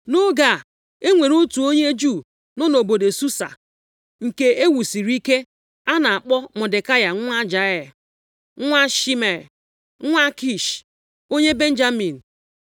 Nʼoge a, enwere otu onye Juu nọ nʼobodo Susa nke ewusiri ike, a na-akpọ Mọdekai nwa Jaịa, nwa Shimei, nwa Kish, onye Benjamin.